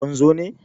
kun zo ne!